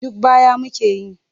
Duk baya muke yi.